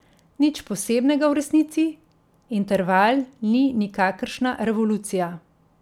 Nič posebnega v resnici, Interval ni nikakršna revolucija.